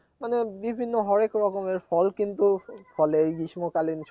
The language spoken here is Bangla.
মানে বিভিন্ন হরেক রকমের ফল কিন্তু ফলে এই গ্রীষ্মকালীন